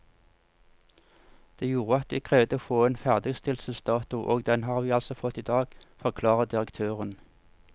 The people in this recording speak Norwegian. Det gjorde at vi krevde å få en ny ferdigstillelsesdato, og den har vi altså fått i dag, forklarer direktøren.